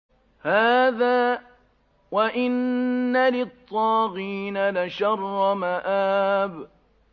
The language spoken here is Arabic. هَٰذَا ۚ وَإِنَّ لِلطَّاغِينَ لَشَرَّ مَآبٍ